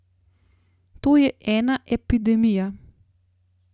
To je ena epidemija!